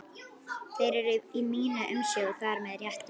Þeir eru í minni umsjá og það með réttu.